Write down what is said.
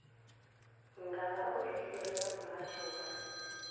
nga vhaofisiri vha muhasho wa